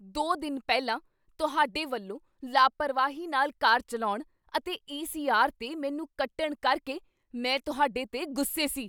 ਦੋ ਦਿਨ ਪਹਿਲਾਂ ਤੁਹਾਡੇ ਵੱਲੋਂ ਲਾਪਰਵਾਹੀ ਨਾਲ ਕਾਰ ਚੱਲਾਉਣ ਅਤੇ ਈ ਸੀ ਆਰ 'ਤੇ ਮੈਨੂੰ ਕੱਟਣ ਕਰਕੇ ਮੈਂ ਤੁਹਾਡੇ 'ਤੇ ਗੁੱਸੇ ਸੀ